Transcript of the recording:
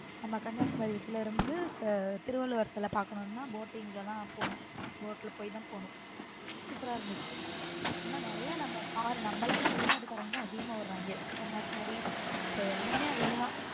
நம்ம கன்னியாகுமரி இதுல இருந்து திருவள்ளுவர் சில பாக்கணும்னா boating தான் போனும் boat போய் தான் போகணும் super ரா இருந்துச்சு ஆனா நிறைய நம்ம நம்மள விட வெளிநாட்டுக்காரங்க தான் அதிகமா வராங்க கன்னியாகுமரி இப்போ எல்லாமே அவங்க தான்.